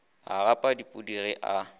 a gapa dipudi ge a